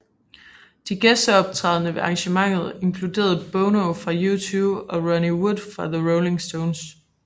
De gæsteoptrædende ved arrangementet inkluderede Bono fra U2 og Ronnie Wood fra The Rolling Stones